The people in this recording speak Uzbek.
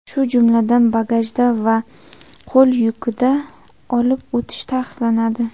shu jumladan bagajda va qo‘l yukida olib o‘tish taqiqlanadi.